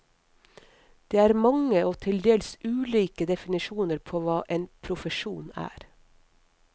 Det er mange og til dels ulike definisjoner på hva en profesjon er.